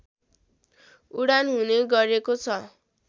उडान हुने गरेको छ